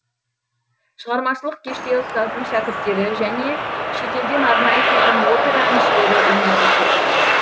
шығармашылық кеште ұстаздың шәкірттері және шетелден арнайы келген опера әншілері өнер көрсетті